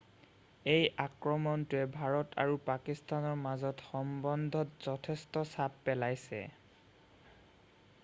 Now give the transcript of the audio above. এই আক্ৰমণটোৱে ভাৰত আৰু পাকিস্তানৰ মাজৰ সম্বন্ধত যথেষ্ট চাপ পেলাইছে